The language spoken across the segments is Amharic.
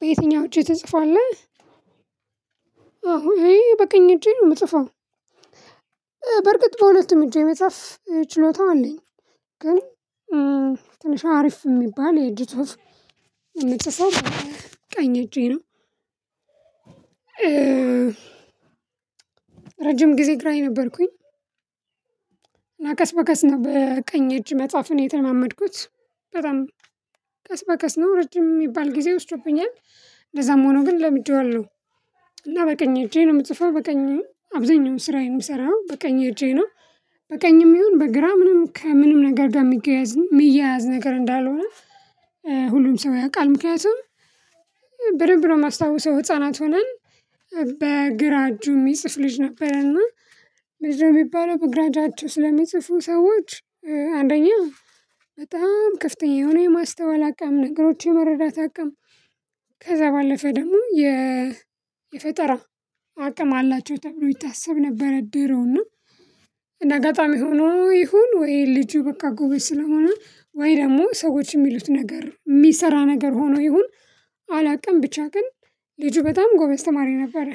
በየአትኛው እጅ ትጽፋለህ? አሁን እኔ በቀኝ እጅ የምጽፈው በርግጥ በሁለቱም እጄ የመጽሐፍ ችሎታው አለኝ። ግን ትንሽ አሪፍ የሚባል የእጅ ጽሁፍ የምጽፈው ቀኝ እጄ ነው። ረጅም ጊዜ ግራዬ ነበርኩኝ። እና ቀስ በቀስ ነው በቀኝ እጅ መጽሐፍን የተመመድኩት በጣም ቀስ በቀስ ነው ረጅም የሚባል ጊዜ ወስጄብኛል እንደዛም ሆኖ ግን ለምደዋለሁ። እና በቀኝ እጄ ነው የምትጽፈው በቀኝ አብዛኛውን ስራ የምሰራው በቀኝ እጄ ነው። በቀኝም ይሁን በግራ ምንም ከምንም ነገር ጋር የሚያያዝ ነገር እንዳልሆነ። ሁሉም ሰው ያውቃል ምክንያቱም በደንብ ነው የማስታውሰው ህፃናት ሆነን በግራ እጁ የሚጽፍ ልጅ ነበረና። ምንድ ነው የሚባለው በግራ እጃቸው ስለሚጽፉ ሰዎች? አንደኛ በጣም ክፍተኛ የሆነ የማስተዋል አቅም ነገሮች የመረዳት አቅም ከዛ ባለፈ ደግሞ የ የፈጠራ አቅም አላቸው ተብሎ ይታሰብ ነበር። ድሮና እንደ አጋጣሚ ሆኖ ይሁን ወይ ልጁ በቃ ጎበዝ ስለሆነ ወይ ደግሞ ሰዎች የሚሉት ነገር የሚሰራ ነገር ሆኖ ይሁን። አላውቅም ብቻ ግን ልጁ በጣም ጎበዝ ተማሪ ነበረ።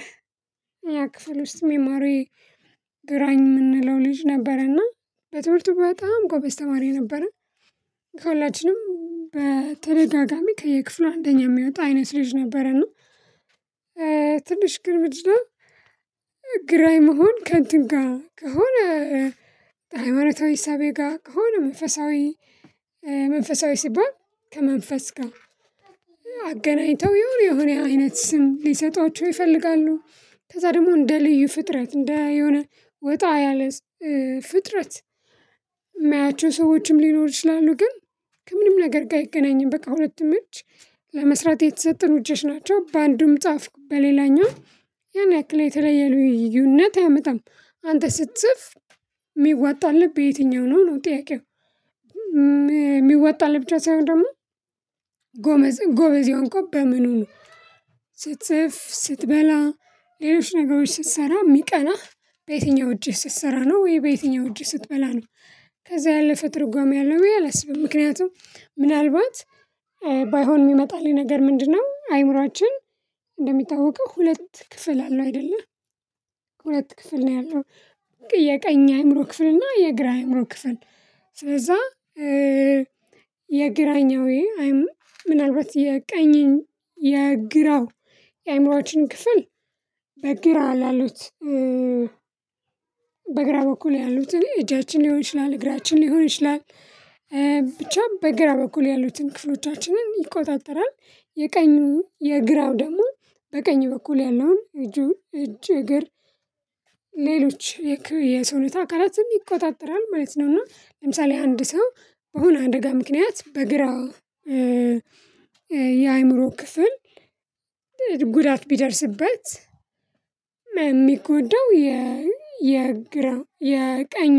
እኛ ክፍል ውስጥ ሚማሪ ግራኝ የምንለው ልጅ ነበረና በትምህርቱ በጣም ጎበዝ ተማሪ ነበረ። ከሁላችንም በተደጋጋሚ ከየክፍሉ አንደኛ የሚያወጣ አይነት ልጅ ነበረና። ትንሽ ግን ምንድ ነው? ግራይ መሆን ከንትንጋ ከሆነ ማረታው ሂሳቤ ጋር ከሆነ መንፈሳዊ መንፈሳዊ ሲባል ከመንፈስ ጋር አገናኝተው የሆነ የሆነ አይነት ስም ሊሰጧቸው ይፈልጋሉ ከዛ ደግሞ እንደ ልዩ ፍጥረት እንደ የሆነ ወጣ ያለ ፍጥረት የማያቸው ሰዎችም ሊኖር ይችላሉ። ግን ከምንም ነገር ጋር አይገናኝም በቃ ሁለት እጅ ለመስራት የተሰጡን እጆች ናቸው። በአንዱም ጻፍኩ በሌላኛው ያን ያክል የተለየ ልዩነት አያመጣም። አንተ ስትጽፍ የሚወጣልህ በየትኛው ነው ነው ጥያቄው? የሚወጣልህ ብቻ ሳይሆን ደግሞ ጎመዝ ጎበዝ የሆንኩት በምኑ ነው? ስትጽፍ ስትበላ ሌሎች ነገሮች ስትሰራ የሚቀናህ በየትኛው እጅህ ስትሰራ ነው ወይ በየትኛው እጅህ ስትበላ ነው? ከዛ ያለፈ ትርጓሜ አለው ምክንያቱም ምናልባት ባይሆን ይመጣልኝ ነገር ምንድነው አይምሮአችን እንደሚታወቀው ሁለት ክፍል አለው አይደለ ሁለት ክፍል ነው ያለው። የቀኝ አይምሮ ክፍል እና የግራ አይምሮ ክፍል ስለዛ የግራኛው አይም ምናልባት የቀኝ የግራው የአይምሮአችን ክፍል በግራ ላሉት በግራ በኩል ያሉት እጃችን ሊሆን ይችላል እግራችን ሊሆን ይችላል። ብቻ በግራ በኩል ያሉትን ክፍሎቻችንን ይቆጣጠራል የቀኙ የግራው ደግሞ በቀኝ በኩል ያለውን እጁን እጅ እግር ሌሎች የሰውነታ አካላትም ይቆጣጠራል ማለት ነው። እና ለምሳሌ አንድ ሰው በሆነ አደጋ ምክንያት በግራው የአእምሮ ክፍል ጉዳት ቢደርስበት የሚጎዳው የግራ የቀኙ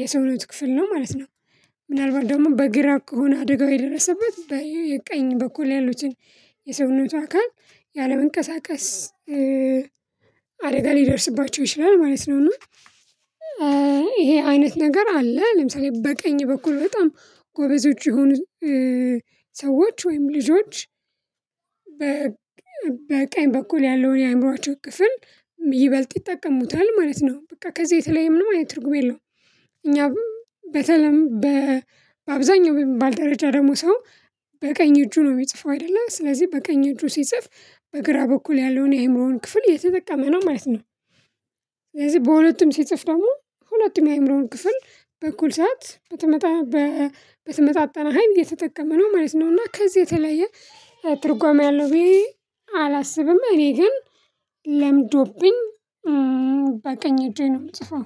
የሰውነት ክፍል ነው ማለት ነው። ምናልባት ደግሞ በግራ ከሆነ አደጋው የደረሰበት በይ ቀኝ በኩል ያሉትን የሰውነቱ አካል ያለመንቀሳቀስ አደጋ ሊደርስባቸው ይችላል ማለት ነውና። እና ይሄ አይነት ነገር አለ ለምሳሌ በቀኝ በኩል በጣም ጎበዞች ይሆኑት ሰዎች ወይም ልጆች በ በቀኝ በኩል ያለውን የአእምሮአቸው ክፍል ይበልጥ ይጠቀሙታል ማለት ነው። በቃ ከዚህ የተለየም ነው ማለት ትርጉም የለውም። እኛ በተለም በአብዛኛው ባልደረጃ ደግሞ ሰው በቀኝ እጁ ነው የሚጽፈው አይደለ ስለዚህ በቀኝ እጁ ሲጽፍ በግራ በኩል ያለውን የመሆን ክፍል የተጠቀመ ነው ማለት ነው። ስለዚህ በሁለቱም ሲጽፍ ደግሞ ሁለቱም የአእምሮውን ክፍል በእኩል ሰዓት በተመጣ በተመጣነ ሀይል እየተጠቀመ ነው ማለት ነው። እና ከዚህ የተለየ ትርጓሜ አለው ብዬ አላስብም እኔ ግን ለምዶብኝ በቃኝ እጄ ነው የምጽፈው